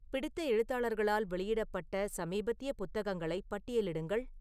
பிடித்த எழுத்தாளர்களால் வெளியிடப்பட்ட சமீபத்திய புத்தகங்களை பட்டியலிடுங்கள்